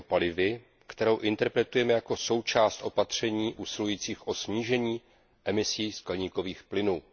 biopalivy, kterou interpretujeme jako součást opatření usilujících o snížení emisí skleníkových plynů.